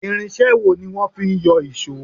Irinṣé wo ní wọ́n fí ń yọ ìṣọ́?